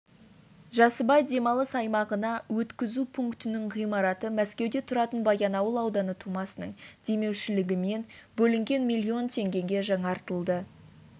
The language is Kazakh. жасыбай демалыс аймағына өткізу пунктінің ғимараты мәскеуде тұратын баянауыл ауданы тумасының демеушілігімен бөлінген миллион теңгеге жаңартылды